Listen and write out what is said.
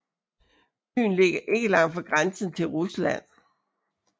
Byen ligger ikke langt fra grænsen til Rusland